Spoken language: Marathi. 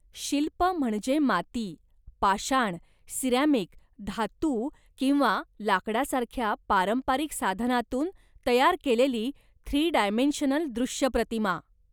शिल्प म्हणजे माती, पाषाण, सिरॅमिक, धातू किंवा लाकडासारख्या पारंपरिक साधनांतून तयार केलेली थ्री डायमेन्शनल दृश्य प्रतिमा.